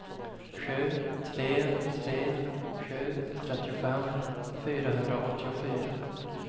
sju tre tre sju trettiofem fyrahundraåttiofyra